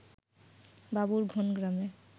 বাবুরঘোন গ্রামে